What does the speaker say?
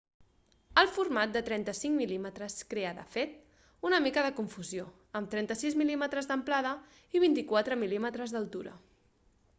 el format de 35 mm crea de fet una mica de confusió amb 36 mm d'amplada i 24 mm d'altura